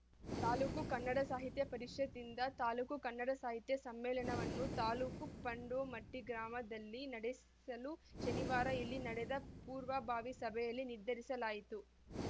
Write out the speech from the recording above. ತಾಲೂಕು ಕನ್ನಡ ಸಾಹಿತ್ಯ ಪರಿಷತ್ ದಿಂದ ತಾಲೂಕು ಕನ್ನಡ ಸಾಹಿತ್ಯ ಸಮ್ಮೇಳನವನ್ನು ತಾಲೂಕಿನ ಪಾಂಡೋಮಟ್ಟಿಗ್ರಾಮದಲ್ಲಿ ನಡೆಸಲು ಶನಿವಾರ ಇಲ್ಲಿ ನಡೆದ ಪೂರ್ವ ಬಾವಿ ಸಭೆಯಲ್ಲಿ ನಿರ್ಧರಿಸಲಾಯಿತು